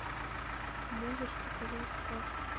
можешь показать сказку